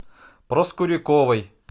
проскуряковой